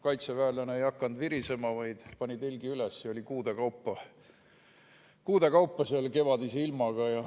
Kaitseväelane ei hakanud virisema, vaid pani telgi üles ja oli kuude kaupa seal, kevadise ilmaga.